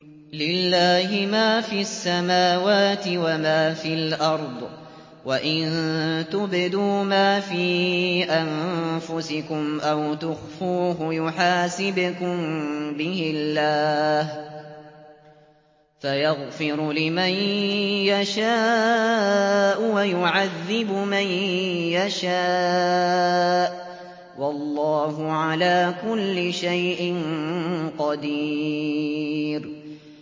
لِّلَّهِ مَا فِي السَّمَاوَاتِ وَمَا فِي الْأَرْضِ ۗ وَإِن تُبْدُوا مَا فِي أَنفُسِكُمْ أَوْ تُخْفُوهُ يُحَاسِبْكُم بِهِ اللَّهُ ۖ فَيَغْفِرُ لِمَن يَشَاءُ وَيُعَذِّبُ مَن يَشَاءُ ۗ وَاللَّهُ عَلَىٰ كُلِّ شَيْءٍ قَدِيرٌ